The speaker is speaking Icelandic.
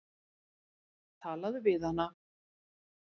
Talaðu við hana.